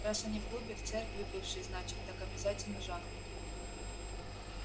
раз они в клубе в церкви бывшей значит так обязательно жахнут